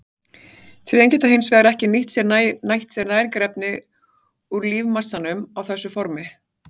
Trén geta hins vegar ekki nýtt sér næringarefni úr lífmassanum á þessu formi.